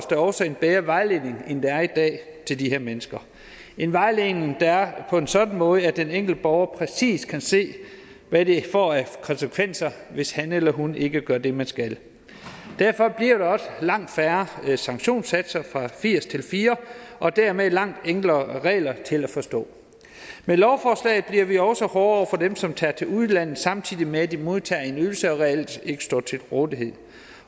der også en bedre vejledning end der er i dag til de her mennesker en vejledning der er på en sådan måde at den enkelte borger præcis kan se hvad det får af konsekvenser hvis han eller hun ikke gør det man skal derfor bliver der også langt færre sanktionssatser fra firs til fire og dermed langt enklere regler der er til at forstå med lovforslaget bliver vi også hårdere over for dem som tager til udlandet samtidig med at de modtager en ydelse og reelt ikke står til rådighed